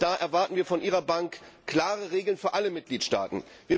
wir erwarten von Ihrer Bank klare Regeln für alle Mitgliedstaaten!